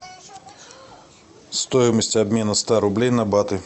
стоимость обмена ста рублей на баты